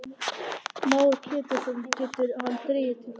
Heimir Már Pétursson: Getur hann dregið til baka?